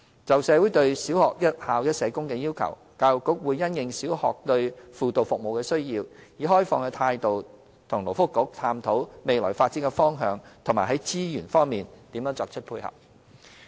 就社會對小學"一校一社工"的要求，教育局會因應小學對輔導服務的需要，以開放的態度與勞工及福利局探討未來的發展方向及在資源方面作出配合。